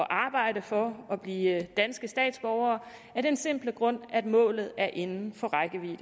arbejde for at blive danske statsborgere af den simple grund at målet er inden for rækkevidde